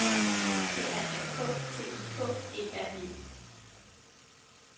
P R A K T I K E R E